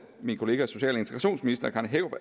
min kollega social